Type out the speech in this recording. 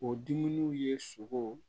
O dumuniw ye sogo